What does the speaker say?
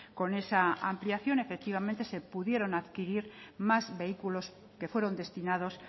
con esa ampliación efectivamente se pudieron adquirir más vehículos que fueron destinados